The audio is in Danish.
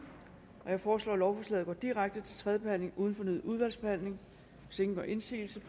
jeg foreslår at lovforslaget går direkte til tredje behandling uden fornyet udvalgsbehandling hvis ingen gør indsigelse